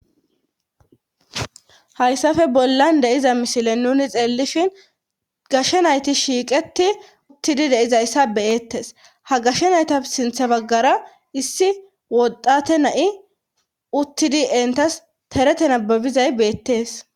Hayssafe bollan deiza misile nuni xeellishin gashshe nayti shiiqeti uttidi deizayssa beyettes ha gashshe nayta sintha baggara issi woddate na'i uttidi entas terete nababizay beettees.